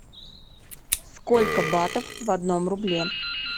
сколько батов в одном рубле